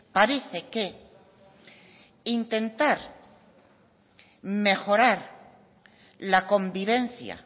parece que intentar mejorar la convivencia